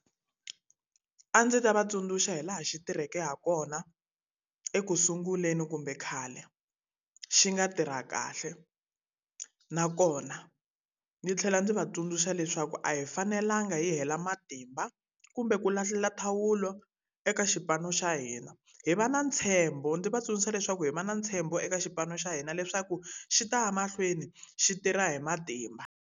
A ndzi ta va tsundzuxa hi laha xi tirheke ha kona ekusunguleni kumbe khale, xi nga tirha kahle. Nakona ndzi tlhela ndzi va tsundzuxa leswaku a hi fanelanga hi hela matimba, kumbe ku lahlile thawula eka xipano xa hina. Hi va na ntshembo ndzi va tsundzuxa leswaku hi va na ntshembo eka xipano xa hina leswaku xi ta ya mahlweni xi tirha hi matimba.